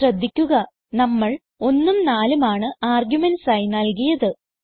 ശ്രദ്ധിക്കുക നമ്മൾ 1ഉം 4ഉം ആണ് ആർഗുമെന്റ്സ് ആയി നൽകിയത്